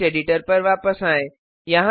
टेक्ट editor पर वापस आएँ